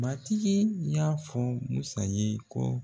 Matigi y'a fɔ Musa ye kɔ